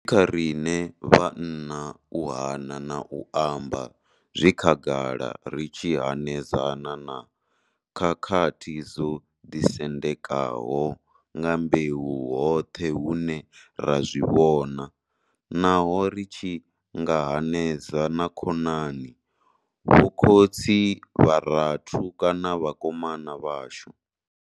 Kha riṋe vhanna u hana na u amba zwi khagala ri tshi hanedzana na khakhathi dzo ḓisendekaho nga mbeu hoṱhe hune ra zwi vhona, naho ri tshi nga hanedzana na khonani, vhokhotsi, vharathu kana vhakomana vhashu.